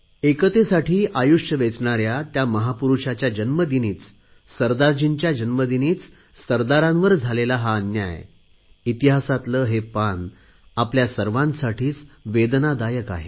एकतेसाठी आयुष्य वेचणाऱ्या त्या महापुरुषाच्या जन्मदिनीच सरदारजींच्या जन्मदिनीच सरदारांवर झालेला हा अन्याय इतिहासातले हे काळेकुट्ट पान आपल्या सर्वांसाठीच वेदनादायक आहे